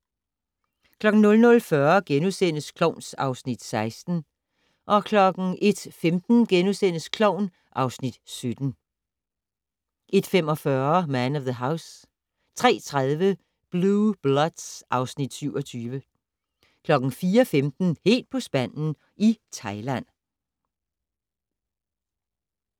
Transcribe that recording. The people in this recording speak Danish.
00:40: Klovn (Afs. 16)* 01:15: Klovn (Afs. 17)* 01:45: Man of the House 03:30: Blue Bloods (Afs. 27) 04:15: Helt på spanden i Thailand